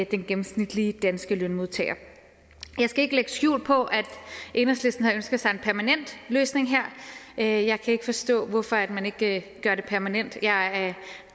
den gennemsnitlige danske lønmodtagers jeg skal ikke lægge skjul på at enhedslisten havde ønsket sig en permanent løsning her jeg kan ikke forstå hvorfor man ikke gør det permanent jeg er